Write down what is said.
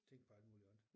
Tænke på alt muligt andet